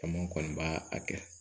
Caman kɔni b'a a kɛ